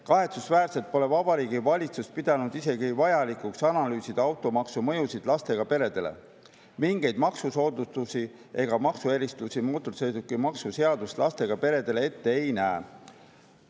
Kahetsusväärselt pole Vabariigi Valitsus pidanud isegi vajalikuks analüüsida automaksu mõjusid lastega peredele, mingeid maksusoodustusi ega maksuerisusi mootorsõidukimaksu seadus lastega peredele ette ei näe.